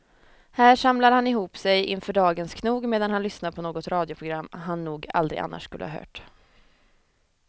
Här samlar han ihop sig inför dagens knog medan han lyssnar på något radioprogram han nog aldrig annars skulle ha hört.